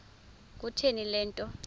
kutheni le nto